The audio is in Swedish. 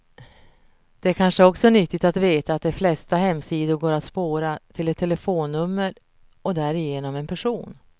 Det är kanske också nyttigt att veta att de flesta hemsidor går att spåra, till ett telefonnummer och därigenom en person.